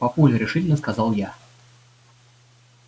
папуль решительно сказала я